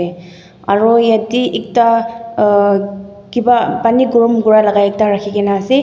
aro yate ekta uuuh kiba pani gorom kura la ekta rakhikena ase.